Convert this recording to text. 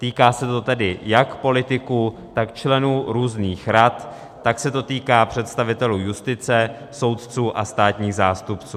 Týká se to tedy jak politiků, tak členů různých rad, tak se to týká představitelů justice, soudců a státních zástupců.